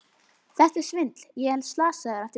Þetta er svindl, ég er slasaður! æpti Dóri.